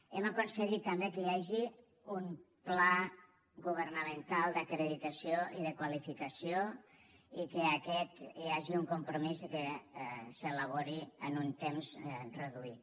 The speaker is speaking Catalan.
hem aconseguit també que hi hagi un pla governamental d’acreditació i de qualificació i que aquest hi hagi un compromís que s’elabori en un temps reduït